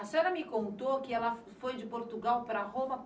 A senhora me contou que ela foi de Portugal para Roma.